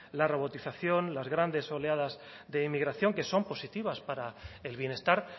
la robotización las grandes oleadas de inmigración que son positivas para el bienestar